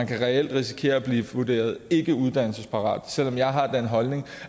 kan reelt risikere at blive vurderet ikkeuddannelsesparate selv om jeg har den holdning